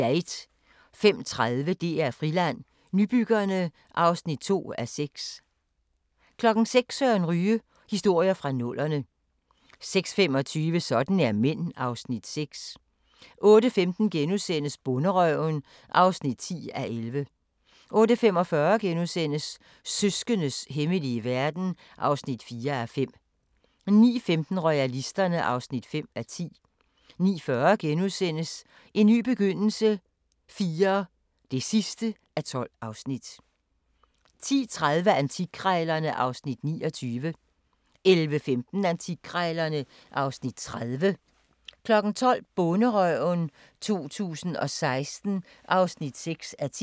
05:30: DR Friland: Nybyggerne (2:6) 06:00: Søren Ryge: Historier fra nullerne 06:25: Sådan er mænd (Afs. 6) 08:15: Bonderøven (10:11)* 08:45: Søskendes hemmelige verden (4:5)* 09:15: Royalisterne (5:10) 09:40: En ny begyndelse IV (12:12)* 10:30: Antikkrejlerne (Afs. 29) 11:15: Antikkrejlerne (Afs. 30) 12:00: Bonderøven 2016 (6:10)